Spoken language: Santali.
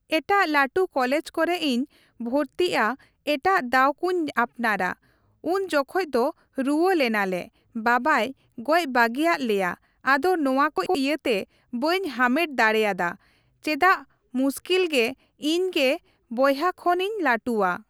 ᱮᱴᱟᱜ ᱞᱟᱹᱴᱩ ᱠᱚᱞᱮᱡᱽ ᱠᱚᱨᱮ ᱤᱧ ᱵᱷᱚᱨᱛᱤᱜᱼᱟ ᱮᱴᱟᱜ ᱫᱟᱣ ᱠᱚᱧ ᱟᱯᱱᱟᱨᱟ ᱾ ᱩᱱ ᱡᱚᱠᱷᱚᱡ ᱫᱚ ᱨᱩᱣᱟᱹ ᱞᱮᱱᱟᱞᱮ ᱵᱟᱵᱟᱭ ᱜᱚᱡ ᱵᱟᱹᱜᱤᱭᱟᱫ ᱞᱮᱭᱟ ᱟᱫᱚ ᱱᱚᱣᱟ ᱠᱚ ᱤᱭᱟᱹᱛᱮ ᱵᱟᱹᱧ ᱦᱟᱢᱮᱴ ᱫᱟᱲᱮᱭᱟᱫᱟ ᱪᱮᱫᱟᱜ ᱢᱩᱥᱠᱤᱞᱚᱜᱛᱮ ᱤᱧᱜᱮ ᱵᱚᱦᱭᱟ ᱠᱷᱚᱱ ᱤᱧ ᱞᱟᱹᱴᱩᱣᱟ ᱾